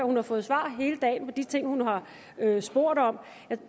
hun har fået svar hele dagen på de ting hun har spurgt om